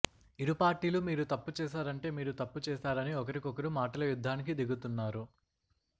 ఇరుపార్టీలు మీరు తప్పు చేశారంటే మీరు తప్పు చేశారని ఒకరికొకరు మాటల యుద్ధానికి దిగుతున్నారు